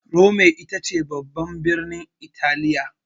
Rome ita ce babban birnin Italiya.